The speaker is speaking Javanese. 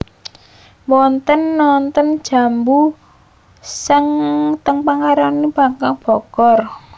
Mboten wonten es jambu ten Macaroni Panggang Bogor